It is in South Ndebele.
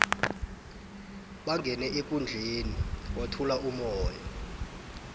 bangene ekundleni kwathula umoya